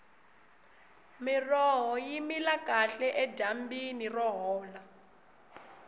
miroho yi mila kahle edyambini ro hola